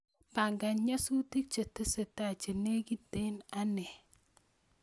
Pangan nyasutik chetesetai chenegiten ane